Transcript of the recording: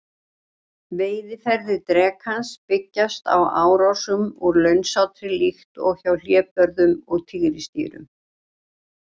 Veiðiaðferðir drekans byggjast á árásum úr launsátri líkt og hjá hlébörðum og tígrisdýrum.